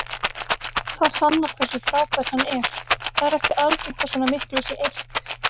Það sannar hversu frábær hann er, það er ekki algengt að svona miklu sé eytt.